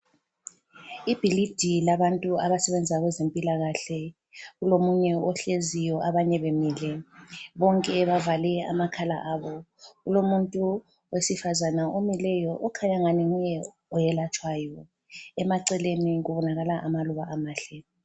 Ibhilidi labantu abasebenza kwezempilakahle. Kulomunye ohleziyo abanye bemile, bonke bavale amakhala abo. Kulomuntu owesifazana omileyo okhanya ngani nguye oyelatshwayo. Emaceleni kubonakale amaluba amahle.